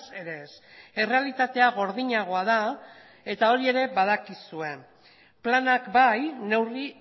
ere ez errealitatea gordinagoa da eta hori ere badakizue planak bai neurri